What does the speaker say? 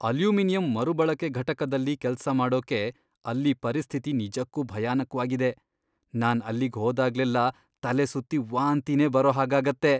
Aluminium ಮರುಬಳಕೆ ಘಟಕದಲ್ಲಿ ಕೆಲ್ಸ ಮಾಡೋಕೆ ಅಲ್ಲೀ ಪರಿಸ್ಥಿತಿ ನಿಜಕ್ಕೂ ಭಯಾನಕ್ವಾಗಿದೆ, ನಾನ್ ಅಲ್ಲಿಗ್ ಹೋದಾಗ್ಲೆಲ್ಲ ತಲೆಸುತ್ತಿ ವಾಂತಿನೇ ಬರೋ ಹಾಗಾಗತ್ತೆ.